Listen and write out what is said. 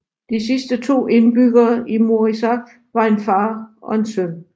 De sidste to indbyggere i Moriusaq var en far og en søn